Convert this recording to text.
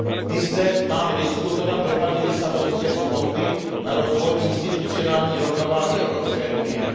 My zde máme diskutovat dopady Lisabonské smlouvy na rozvoj institucionální rovnováhy Evropské unie.